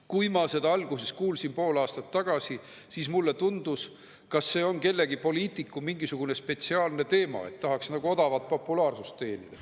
Kui ma seda alguses kuulsin pool aastat tagasi, siis mulle tundus, et see on kellegi poliitiku mingisugune spetsiaalne teema, et tahaks nagu odavalt populaarsust teenida.